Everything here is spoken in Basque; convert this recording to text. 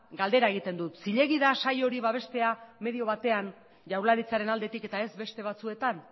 galdera egiten dut zilegi da saio hori babestea medio batean jaurlaritzaren aldetik eta ez beste batzuetan